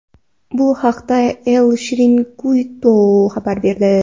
Bu haqda El Chiringuito xabar berdi .